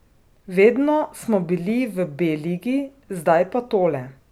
Vedno smo bili v B ligi, zdaj pa tole.